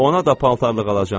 Ona da paltarlıq alacam.